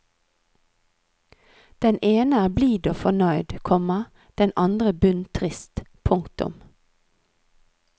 Den ene er blid og fornøyd, komma den andre bunntrist. punktum